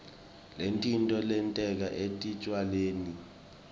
ngetitfo letenteka etitjalweni